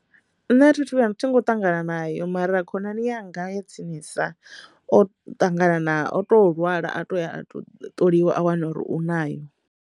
Nṋe a thi thu vhuya nṱha nga u ṱangana nayo mara khonani yanga ya tsinisa o ṱangana na o to lwala a to a to ṱoliwa a wana uri u nayo.